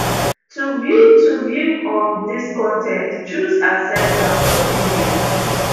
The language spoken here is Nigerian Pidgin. to view to view um dis con ten t choose accept and continue